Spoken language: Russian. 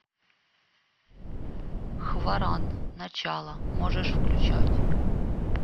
хваран начало можешь включать